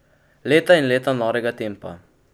Leta in leta norega tempa.